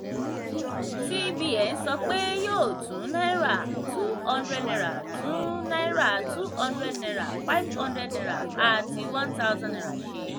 cbn sọ pé yóò tún naira two hundred naira tún náírà two hundred naira five hundred naira àti one thousand naira ṣe.